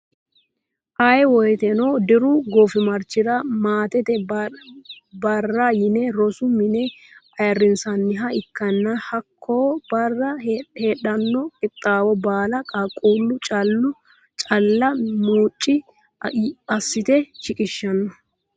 Ayee woyiiteno diru goofimarchira maatete barra yine rosu mine ayiirinsanniha ikkanna hakko barra heedhano qixaawo baala qaaqqullu calla mucci assite shiqishanno.